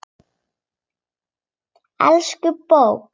Elsku bók!